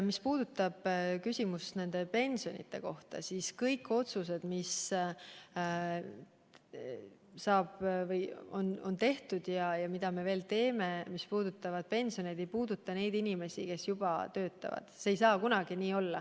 Mis puudutab küsimust nende pensioni kohta, siis kõik otsused, mis on tehtud ja mida me veel teeme seoses pensioniga, ei puuduta neid inimesi, kes juba töötavad sel erialal.